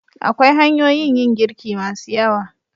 Akwai hanyoyin yin girki masu yawa.